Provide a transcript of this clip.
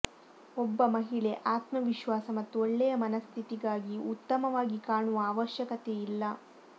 ಒಬ್ಬ ಮಹಿಳೆ ಆತ್ಮ ವಿಶ್ವಾಸ ಮತ್ತು ಒಳ್ಳೆಯ ಮನಸ್ಥಿತಿಗಾಗಿ ಉತ್ತಮವಾಗಿ ಕಾಣುವ ಅವಶ್ಯಕತೆಯಿಲ್ಲ